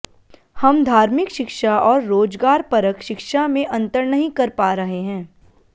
हम धार्मिक शिक्षा और रोजगारपरक शिक्षा में अंतर नहीं कर पा रहे हैं